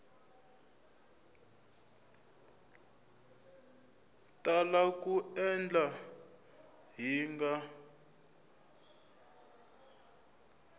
tala ku etlela hi nga